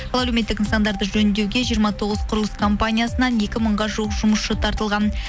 ол әлеуметтік нысандарды жөндеуге жиырма тоғыз құрылыс компаниясынан екі мыңға жуық жұмысшы тартылған